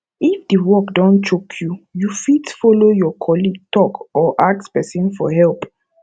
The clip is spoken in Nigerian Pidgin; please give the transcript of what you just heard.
if di work don choke you you fit follow your colleague talk or ask person for help